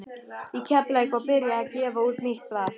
Í Keflavík var byrjað að gefa út nýtt blað.